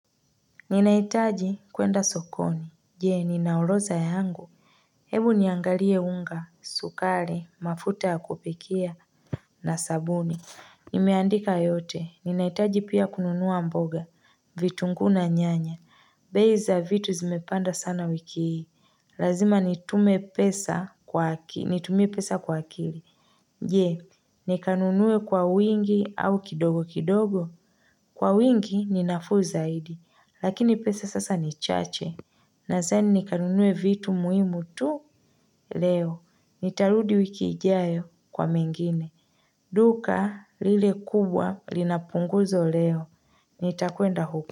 Ninahitaji kwenda sokoni, je ninarodha yangu Hebu niangalie unga, sukari, mafuta ya kupikia na sabuni Nimeandika yote, ninahitaji pia kununua mboga, vitunguu na nyanya bei za vitu zimepanda sana wiki hii, lazima nitumie pesa kwa akili Je nikanunuwe kwa wingi au kidogo kidogo Kwa wingi ninafuu zaidi, lakini pesa sasa ni chache. Nadhani nikanunue vitu muhimu tu leo. Nitarudi wiki ijayo kwa mengine. Duka lile kubwa linapunguzo leo. Nitakwenda huko.